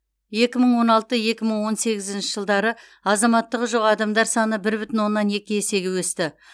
екі мың он алты екі мың он сегізінші жылдары азаматтығы жоқ адамдар саны бір бүтін оннан екі есеге өсті